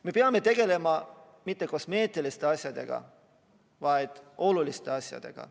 Me ei pea tegelema mitte kosmeetiliste asjadega, vaid oluliste asjadega.